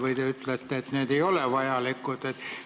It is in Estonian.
Või te ütlete, et need ei ole vajalikud?